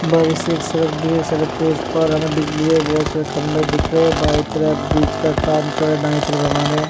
बाईं से एक सड़क गयी है। सड़क के उस पार हमें बिजली के बहोत सारे खम्भे दिख रहे हैं। बाईं तरफ ब्रिज का काम चल रहा दायें तरफ हमारे --